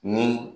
Ni